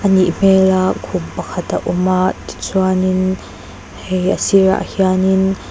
nih hmel a khum pakhat a awm a tichuan hei a sirah hianin.